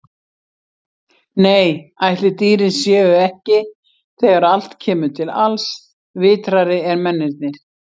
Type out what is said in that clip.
Nei, ætli dýrin séu ekki, þegar allt kemur til alls, vitrari en mennirnir.